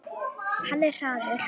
Hann er hraður.